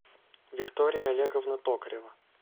виктория олеговна токарева